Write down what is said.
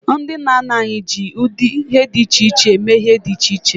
Ndị nna nna anyị ji ụdị ihe dị iche iche mee ihe dị iche iche.